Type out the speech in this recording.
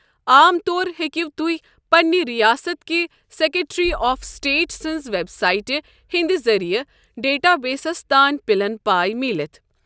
عام طور ہیٚکو تہۍ پنٛنہِ رِیاست کہِ سیكٹری آف سٹیٹ سٕنٛزِ وٮ۪ب سایٹہِ ہِنٛدِِ ذٔریعہٕ ڈیٹا بیسَس تانۍ پِلن پاے میٖلِتھ ۔